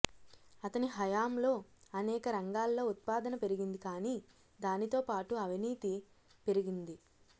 అతని హయాంలో అనేక రంగాల్లో ఉత్పాదన పెరిగింది కానీ దానితో పాటు అవినీతీ పెరిగింది